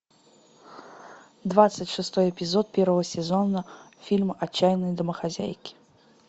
двадцать шестой эпизод первого сезона фильм отчаянные домохозяйки